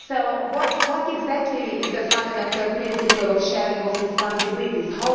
So what exactly is the fundamental principle of sharing of responsibilities?